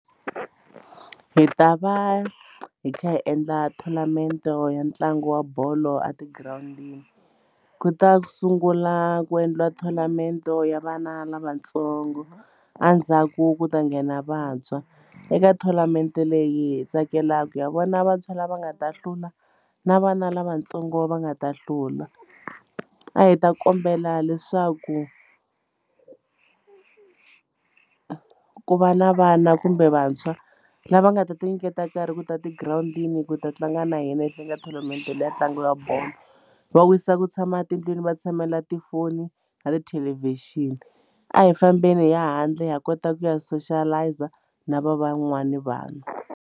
Hi ta va hi kha hi endla tournament ya ntlangu wa bolo a tigirawundini ku ta sungula ku endliwa tournament ya vana lavatsongo endzhaku ku ta nghena vantshwa eka tournament leyi hi tsakelaka ya vona vantshwa lava nga ta hlula na vana lavatsongo va nga ta hlula a hi ta kombela leswaku ku vana kumbe vantshwa lava nga ta ti nyiketa nkarhi ku ta tigirawundini ku ta tlanga na hina ehenhleni ka tournament leya ntlangu ya bolo va wisa ku tshama etindlwini va tshamela tifoni na tithelevhixini a hi fambeni hi ya handle ha kota ku ya soshalayiza na va van'wani vanhu.